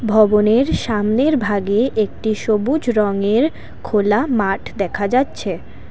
ভবনের সামনের ভাগে একটি সবুজ রঙের খোলা মাঠ দেখা যাচ্ছে।